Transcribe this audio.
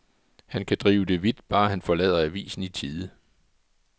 Han kan drive det vidt, bare han forlader avisen i tide.